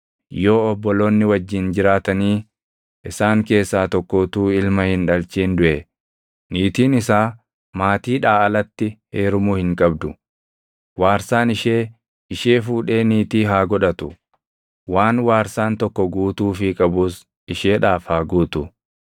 Yoo obboloonni wajjin jiraatanii isaan keessaa tokko utuu ilma hin dhalchin duʼe, niitiin isaa maatiidhaa alatti heerumuu hin qabdu. Waarsaan ishee ishee fuudhee niitii haa godhatu; waan waarsaan tokko guutuufii qabus isheedhaaf haa guutu.